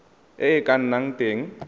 e e ka nnang teng